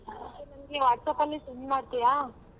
ನಂಗೆ WhatsApp ಅಲ್ಲಿ send ಮಾಡ್ತಿಯಾ?